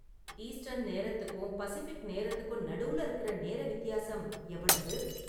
eastern நேரத்துக்கும் Pacific நேரத்துக்கும் நடுவுல இருக்குற நேர வித்தியாசம் எவ்வளவு